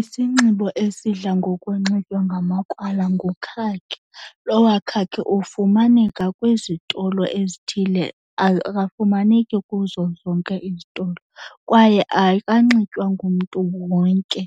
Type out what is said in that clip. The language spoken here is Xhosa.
Isinxibo esidla ngokunxitywa ngamakrwala ngukhakhi. Lowa khakhi ufumaneka kwizitolo ezithile, akafumaneki kuzo zonke izitolo kwaye akanxitywa ngumntu wonke